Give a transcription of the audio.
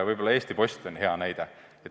Võib-olla Eesti Post on hea näide.